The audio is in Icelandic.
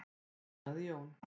Þá sagði Jón: